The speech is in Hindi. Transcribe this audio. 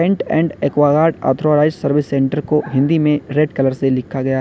Cantt and Aquaguard authorised service centre को हिंदी में रेड कलर से लिखा गया है।